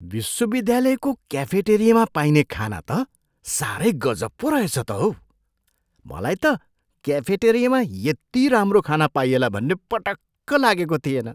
विश्वविद्यालयको क्याफेटेरियामा पाइने खाना त साह्रै गजब पो रहेछ त हौ। मलाई त क्याफेटेरियामा यति राम्रो खाना पाइएला भन्ने पटक्क लागेको थिएन।